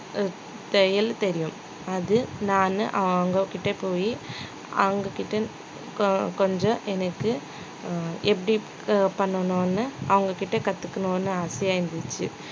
தையல் தெரியும் அது நானு அவங்ககிட்ட போயி அவங்ககிட்ட கொ~ கொஞ்சம் எனக்கு அஹ் எப்படி க~ பண்ணணும்னு அவங்ககிட்ட கத்துக்கணும்னு ஆசையா இருந்துச்சு